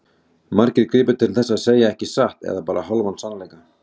Margir gripu til þess að segja ekki satt eða bara hálfan sannleika.